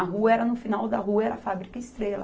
A rua era no final da rua, era a fábrica Estrela.